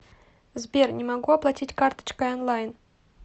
сбер не могу оплатить карточкой онлайн